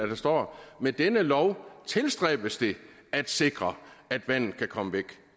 der står med denne lov tilstræbes det at sikre at vandet kan komme væk